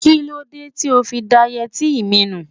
Kí ló dé tí ó fi da yẹtí mi nù?